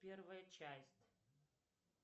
первая часть